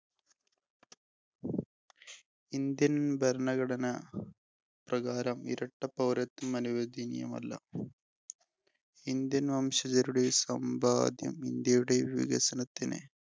Indian ഭരണഘടന പ്രകാരം ഇരട്ട പൗരത്വം അനുവദനീയമല്ല. Indian വംശജരുടെ സമ്പാദ്യം ഇന്ത്യയുടെ വികസനത്തിന്